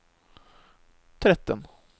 tretten